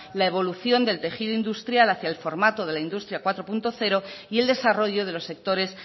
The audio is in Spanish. la evolución del tejido industrial hacia el formato de la industria cuatro punto cero y el desarrollo de los sectores